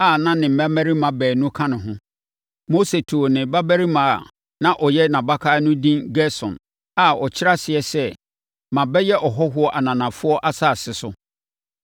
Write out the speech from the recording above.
a na ne mmammarima baanu ka ne ho. Mose too ne babarima a na ɔyɛ nʼabakan no edin Gersom a ɔkyerɛ aseɛ sɛ, “Mabɛyɛ ɔhɔhoɔ ananafoɔ asase so.”